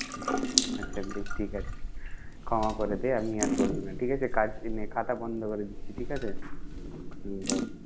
আচ্ছা বেশ ঠিক আছে, ক্ষমা করে দে। আমি আর বলবো না ঠিক আছে কাজ এইনে খাতা বন্ধ করে দিচ্ছি ঠিক আছে? হম বল।